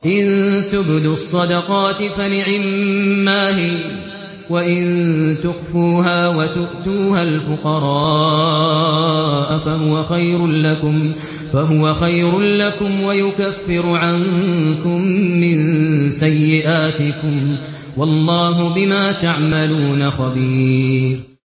إِن تُبْدُوا الصَّدَقَاتِ فَنِعِمَّا هِيَ ۖ وَإِن تُخْفُوهَا وَتُؤْتُوهَا الْفُقَرَاءَ فَهُوَ خَيْرٌ لَّكُمْ ۚ وَيُكَفِّرُ عَنكُم مِّن سَيِّئَاتِكُمْ ۗ وَاللَّهُ بِمَا تَعْمَلُونَ خَبِيرٌ